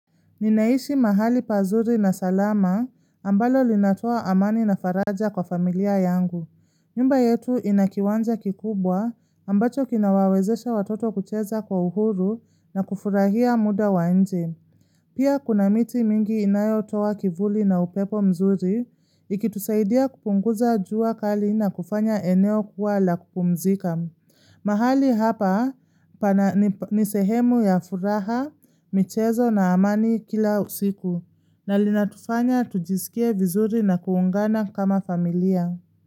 Ninaishi mahali pazuri na salama, ambalo linatoa amani na faraja kwa familia yangu. Nyumba yetu ina kiwanja kikubwa ambacho kinawawezesha watoto kucheza kwa uhuru na kufurahia muda wa nje. Pia kuna miti mingi inayotoa kivuli na upepo mzuri ikitusaidia kupunguza jua kali na kufanya eneo kuwa la kupumzika. Mahali hapa ni sehemu ya furaha, michezo na amani kila usiku na linatufanya tujisikie vizuri na kuungana kama familia.